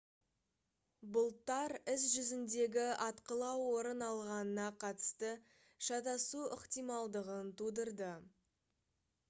бұлттар іс жүзіндегі атқылау орын алғанына қатысты шатасу ықтималдығын тудырды